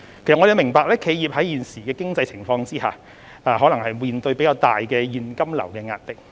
政府明白企業在現時的經濟情況下，或會面對較大的現金流壓力。